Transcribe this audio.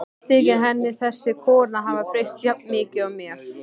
Þykir henni þessi kona hafa breyst jafn mikið og mér?